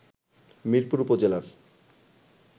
মিরপুর উপজেলার